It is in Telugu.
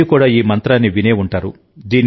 మీరు కూడా ఈ మంత్రాన్ని విని ఉంటారు